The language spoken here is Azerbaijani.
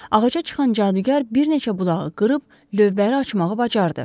Ağaca çıxan cadugar bir neçə budağı qırıb lövbəri açmağı bacardı.